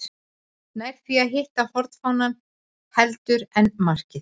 Nær því að hitta hornfánann heldur en markið.